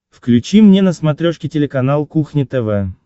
включи мне на смотрешке телеканал кухня тв